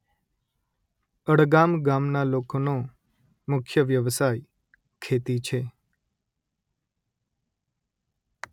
અડગામ ગામના લોકોનો મુખ્ય વ્યવસાય ખેતી છે